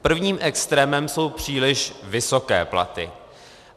Prvním extrémem jsou příliš vysoké platy.